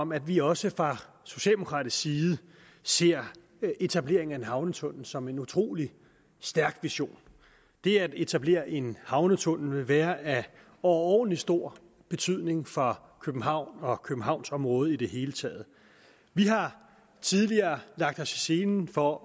om at vi også fra socialdemokratisk side ser etableringen af en havnetunnel som en utrolig stærk vision det at etablere en havnetunnel vil være af overordentlig stor betydning for københavn og københavnsområdet i det hele taget vi har tidligere lagt os i selen for